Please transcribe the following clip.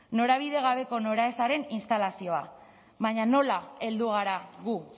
norabide gabeko noraezaren instalazioa baina nola heldu gara gu